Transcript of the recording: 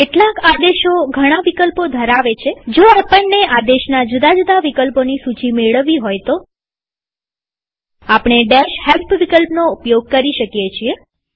કેટલાક આદેશો ઘણા વિકલ્પો ધરાવે છેજો આપણને આદેશના જુદા જુદા વિકલ્પોની સૂચી મેળવવી હોય તો આપણે help વિકલ્પનો ઉપયોગ કરીએ છીએ